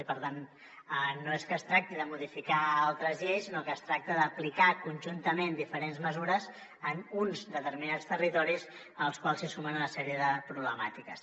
i per tant no és que es tracti de modificar altres lleis sinó que es tracta d’aplicar conjuntament diferents mesures en uns determinats territoris als quals s’hi sumen una sèrie de problemàtiques